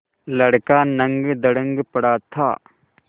लड़का नंगधड़ंग पड़ा था